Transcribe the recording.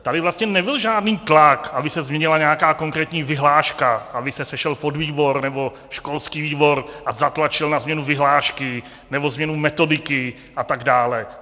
Tady vlastně nebyl žádný tlak, aby se změnila nějaká konkrétní vyhláška, aby se sešel podvýbor nebo školský výbor a zatlačil na změnu vyhlášky nebo změnu metodiky atd.